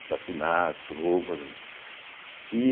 Assassinatos, roubo ali e